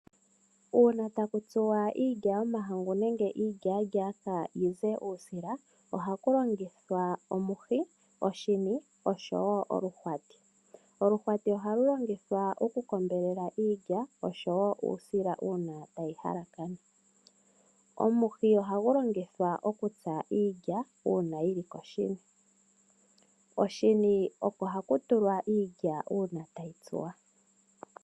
Uuna takutsuwa iilya yomahangu nenge iilya-lyaaka yize uusila ohaku longithwa omuhi nenge oshini oshowo oluhwati . Oluhwati ohali longithwa oku kombelela iilya oshowo uusila uuna tayi halakana . Omuhi ohagu longithwa okutsa iilya uuna yili koshini. Oshini oko haku tsuwa iilya uuna tayi tsuwa.